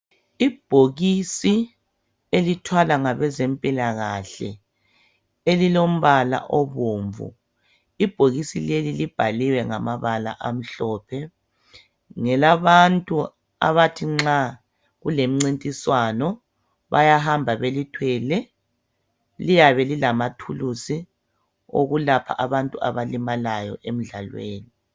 Ibhokisi elithwala ngabezempilakahle elilo mbala obomvu, ibhokisi leli libhaliwe ngamabala amhlophe, ngelabantu abathi nxa kulomncintiswano bayahamba belithwele liyabe lilamathuluzi lokwelapha abantu abalimalayo emdlalweni.